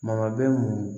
Maga bɛ mun